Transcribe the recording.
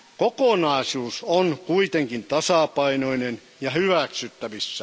Kokonaisuus on kuitenkin tasapainoinen ja hyväksyttävissä.